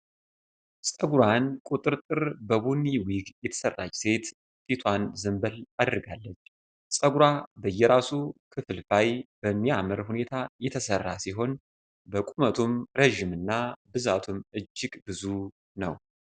ጸጉሯን ቁጥርጥር በቡኒ ዊግ የተሰራች ሴት ፊቷን ዘንበል አድርጋለች። ጸጉሯ በየራሱ ክፍልፋይ በሚያምር ሁኔታ የተሰራ ሲሆን በቁመቱም ረጅም እና ብዛቱም እጅግ ብዙ ነው።